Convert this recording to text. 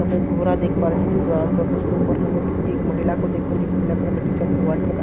यहां पे एक घोरा देख पा रहे हैं जो कि ब्राउन कलर का उसके ऊपर हम क एक महिला को देख पा रहे हैं जोकि ब्लैक कलर का टी-शर्ट और व्हाइट कलर का --